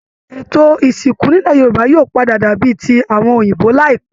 Ètó ìsìnkú nílẹ̀ Yorùbá yóò pàdà dàbí i ti àwọn òyìnbó láìpẹ́